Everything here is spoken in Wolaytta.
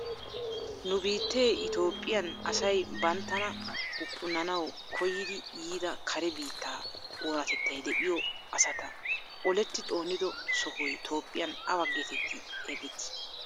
Nu biittee Itoophphiyan asay banttana huqqunanawu koyidi yiida kare biittaa oonatettay de'iyo asata oletti xoonido sohoy Toophphiyan awa getetti xeegettii?